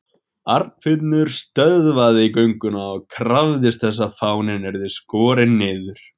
Arnfinnur stöðvaði gönguna og krafðist þess að fáninn yrði skorinn niður.